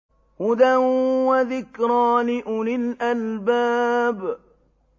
هُدًى وَذِكْرَىٰ لِأُولِي الْأَلْبَابِ